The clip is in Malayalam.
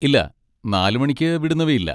ഇല്ല, നാല് മണിക്ക് വിടുന്നവയില്ല.